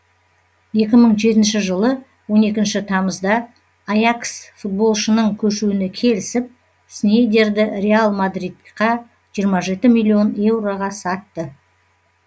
екі мың жетінші жылы он екінші тамызда аякс футболшының көшуіне келісіп снейдерді реал мадридқа жиырма миллион еуроға сатты